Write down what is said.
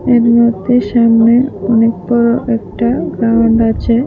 এর মধ্যে সামনে অনেক বড় একটা গ্রাউন্ড আছে।